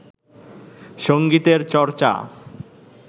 সঙ্গীতের চর্চা